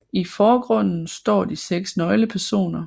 I forgrunden står de seks nøglepersoner